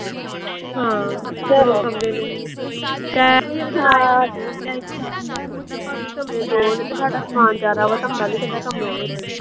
ਹਾਂ ਦੋ ਕਮਰੇ ਨੇ। ਕਹਿੰਦਾ ਭਾਬੀ ਕਮਰੇ ਦੋ ਨੇ ਤੇ ਸਾਡਾ ਸਮਾਨ ਜ਼ਿਆਦਾ ਵਾ ਤੇ ਆਉਂਦਾ ਨੀ ਕਮਰਿਆਂ ਵਿਚ।